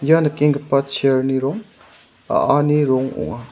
ia nikenggipa chair-ni rong a·ani rong ong·a.